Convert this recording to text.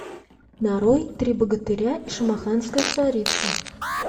нарой три богатыря и шамаханская царица